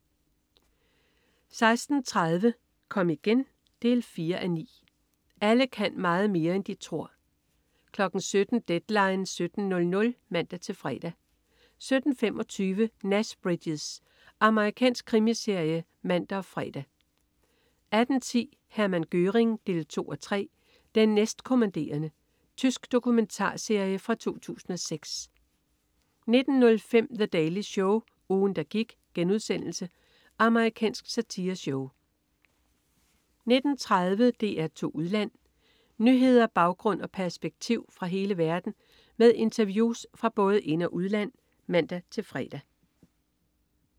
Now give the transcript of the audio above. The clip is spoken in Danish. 16.30 Kom igen 4:9. Alle kan meget mere, end de tror 17.00 Deadline 17.00 (man-fre) 17.25 Nash Bridges. Amerikansk krimiserie (man og fre) 18.10 Hermann Göring 2:3. "Den næstkommanderende". Tysk dokumentarserie fra 2006 19.05 The Daily Show. Ugen, der gik.* Amerikansk satireshow 19.30 DR2 Udland. Nyheder, baggrund og perspektiv fra hele verden med interviews fra både ind- og udland (man-fre)